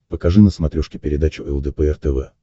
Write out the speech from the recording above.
покажи на смотрешке передачу лдпр тв